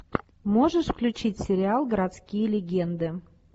можешь включить сериал городские легенды